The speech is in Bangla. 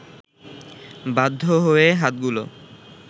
বাধ্য হয়ে হাতগুলো